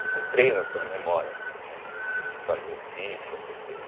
Você treina a sua memória né a fazer fichas, essas coisas.